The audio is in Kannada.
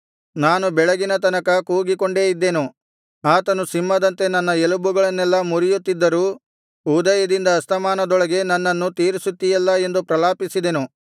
ನಾನು ಬೆಳಗಿನ ತನಕ ಕೂಗಿಕೊಂಡೇ ಇದ್ದೆನು ಆತನು ಸಿಂಹದಂತೆ ನನ್ನ ಎಲುಬುಗಳನ್ನೆಲ್ಲಾ ಮುರಿಯುತ್ತಿದ್ದರೂ ಉದಯದಿಂದ ಅಸ್ತಮಾನದೊಳಗೇ ನನ್ನನ್ನು ತೀರಿಸುತ್ತೀಯಲ್ಲಾ ಎಂದು ಪ್ರಲಾಪಿಸಿದೆನು